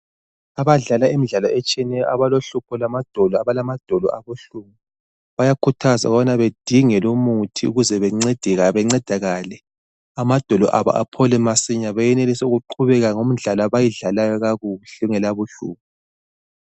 Abadlala imidlalo etshiyeneyo, abalohlupho lwamadolo, abalamadolo abuhlungu, bayakhuthazwa ukubana badingelwe umuthi ukuze bancedakale, amadolo abo aphole masinya bayenelise ukuqhubeka ngomdlalo abayidlalayo kakuhle kungela buhlungu.